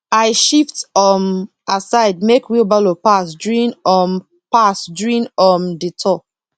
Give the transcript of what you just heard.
i shift um aside make wheelbarrow pass during um pass during um the tour